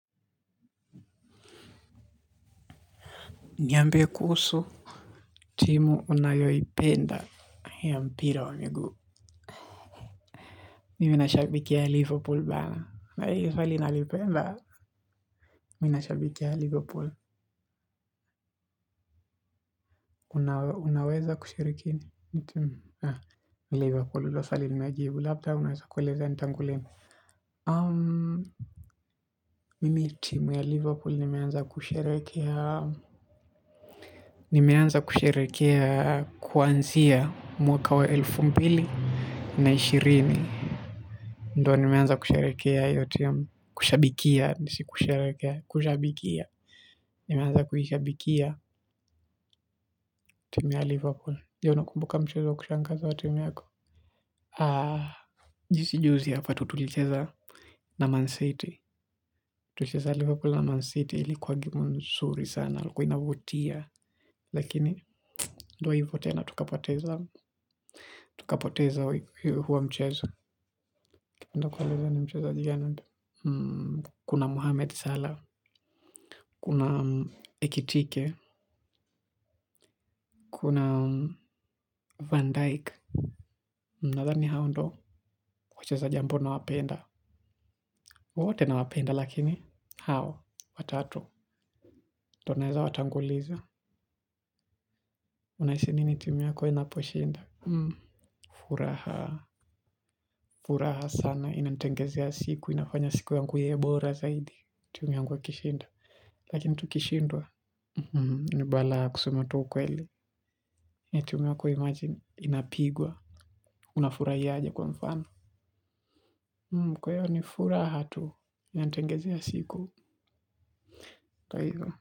Niambie kuhusu. Timu unayoipenda. Haya mpira wa migu. Mimi nashabikia Liverpool bana na iyo swali inalipenda. Mimi nashabikia Liverpool. Unaweza kushiriki na timu Liverpool hilo swali nimejibu. Labda unweza kuelezea. Ni tangu lini? Mimi timu ya Liverpool nimeanza kusherehekea, nimeanza kusherehekea. Kwanzia. Mwaka wa elfu mbili na ishirini. Ndio nimeanza kusherehekea iyo timu kushabikia. Adi si kusherehekea, kushabikia. Nimeanza kuishabikia timu ya Liverpool. Je, unakumbuka mchezo wa kushangaza wa timi yako? Ah, jinsi juzi hapa tu tulicheza na Man City. Tulicheza Liverpool na Man City ilikuwa gemu nzuri sana ilikuwa inavutia. Lakini, ndio hivo tena tukapoteza huo mchezo. Nitakueleza ni mchezaji gani kuna Muhammad Salah, kuna Ekitike, kuna Van Dijik nadhani hao ndio wachezaji ambao nawapenda wote na wapenda lakini, hao watatu ndio naweza watanguliza. Unahisi nini timu yako inaposhinda. Furaha, furaha sana, inantengenezea siku, inafanya siku yangu iwe bora zaidi timu ikishinda, lakini tukishindwa ni balaa kusema tu ukweli ni timu yako imagine inapigwa unafurahia aje kwa mfano kwa hivyo ni furaha tu inanitengenezea siku kwa hivo.